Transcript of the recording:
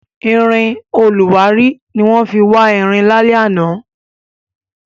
Irin olùwárí ni wọ́n fi wá irin lálẹ́ àná.